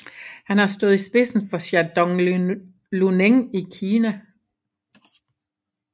Han har senest stået i spidsen for Shandong Luneng i Kina